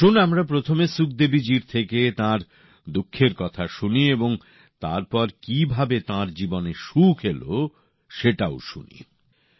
আসুন আমরা প্রথমে সুখদেবীজির থেকে তাঁর দুঃখের কথা শুনি এবং তারপর কীভাবে তাঁর জীবনে সুখ এল সেটাও শুনি